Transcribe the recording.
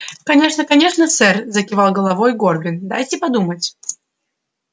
конечно конечно сэр закивал головой горбин дайте подумать